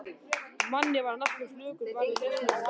Manni varð næstum flökurt bara við lesninguna.